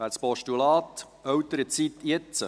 Wer das Postulat «Elternzeit jetzt!